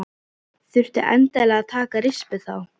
Þurfti endilega að taka rispu þá.